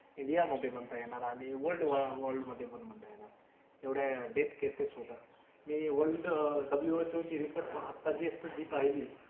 इंडियामधे म्हणता येणार आणि वल्ड वॉर मधे पण म्हणता येणार. एवढ्या डेथ केसेस होतात आणि मी वल्ड WHO चे रिपोर्ट आता जस्ट मी पाहिली,